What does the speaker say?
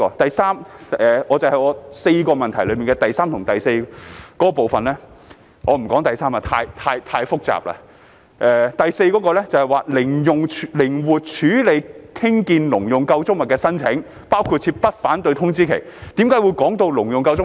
第三，關於議案4部分中的第三及第四部分——我不談第三部分，因為太複雜了——第四部分"靈活處理興建農用構築物的申請，包括設不反對通知期"，為何會提到"農用構築物"？